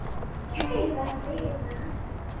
Kæra vina!